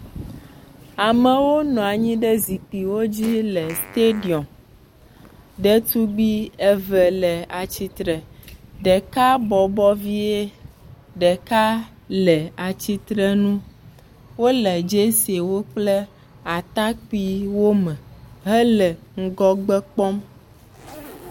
Amewo nɔ anyi ɖe zikpuiwo dzi le stadium. Ɖetugbi eve le atsitre. Ɖeka bɔbɔ vie ɖeka le atsitre nu. Wole jerseywo kple atakpui me hele ŋgɔgbe kpɔm.